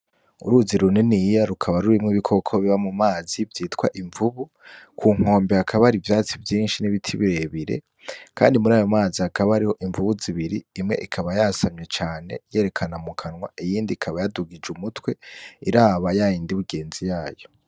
Uruzi runiniya rukaba rurimwo ibikoko biba mumazi vyitwa imvubu. Ku nkombe hakaba hari ivyatsi vyinshi vyinshi n'ibiti birebire. Kandi murayo mazi hakaba harimwo imvubu zibiri, imwe ikaba yasamye cane yerekana mu kanwa, iyindi ikaba yadugije umutwe iraba yayindi yigenzi yayo.